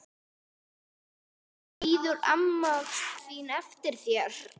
Bíður amma þín eftir þér?